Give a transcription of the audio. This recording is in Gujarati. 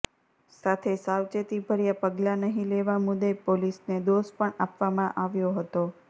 સાથે સાવચેતીભર્યા પગલાં નહીં લેવા મુદ્દે પોલીસને દોષ પણ આપવામાં આવ્યો હતો